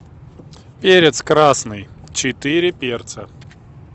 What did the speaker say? перец красный четыре перца